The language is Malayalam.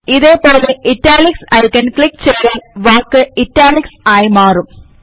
ഇതേപോലെ ഇറ്റാലിക്സ് ഐക്കൺ ക്ലിക്ക് ചെയ്താൽ വാക്ക് ഇറ്റാലിക്സിൽ ആയി മാറും